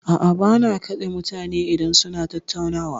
A'a, ba na katse mutane idan suna tattaunawa.